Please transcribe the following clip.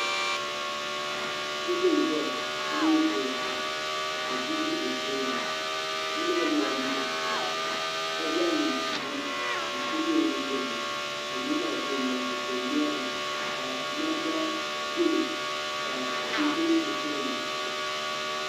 Niraba n ʒɛya bi mii zooya pam ka bia ʒi bi tooni bia maa yɛla liiga piɛlli ka zaŋ luŋ n ku yɛ o nyingoli ni ka luŋ maa do o naba ni ka o ŋmɛrili ka namda yɛlo ka di do o tooni